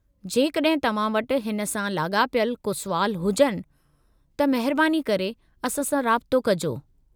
जेकॾहिं तव्हां वटि हिन सां लाॻापियलु को सुवाल हुजनि त महिरबानी करे असां सां राबितो कजो।